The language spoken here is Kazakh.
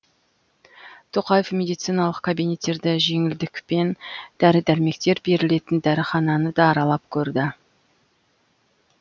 тоқаев медициналық кабинеттерді жеңілдікпен дәрі дәрмектер берілетін дәріхананы да аралап көрді